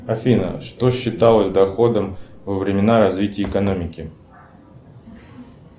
афина что считалось доходом во времена развития экономики